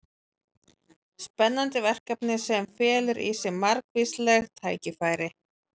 Spennandi verkefni sem felur í sér margvísleg tækifæri.